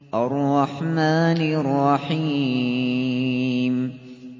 الرَّحْمَٰنِ الرَّحِيمِ